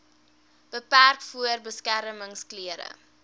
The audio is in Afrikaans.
beperk voordat beskermingsklere